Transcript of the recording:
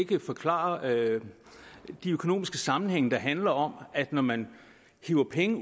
kan forklare de økonomiske sammenhænge der handler om at når man hiver penge